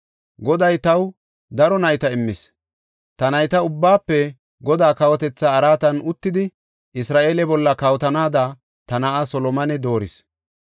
Goday taw daro nayta immis; ta nayta ubbaafe Godaa kawotetha araatan uttidi Isra7eele bolla kawotanaada ta na7aa Solomone dooris.